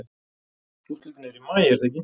Úrslitin eru í maí er það ekki?